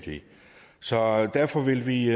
så derfor vil vi